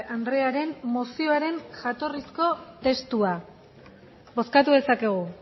andrearen mozioaren jatorrizko testua bozkatu dezakegu